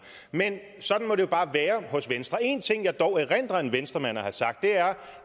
men sådan må det jo bare være hos venstre en ting som jeg dog erindrer at en venstremand har sagt er